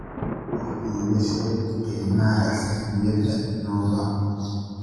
wax iiga sheeg qiimaha saamiyada innova